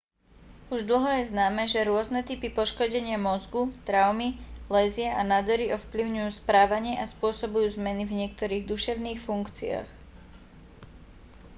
už dlho je známe že rôzne typy poškodenia mozgu traumy lézie a nádory ovplyvňujú správanie a spôsobujú zmeny v niektorých duševných funkciách